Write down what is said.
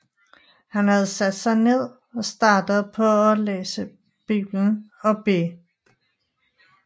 Han havde sat sig ned og startet på at læse Bibelen og bede